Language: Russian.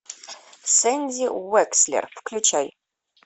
сэнди уэкслер включай